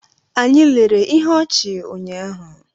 Anyị lere ihe ọchị ụnyahụ.